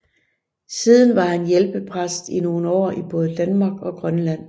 Siden var han hjælpepræst i nogle år i både Danmark og Grønland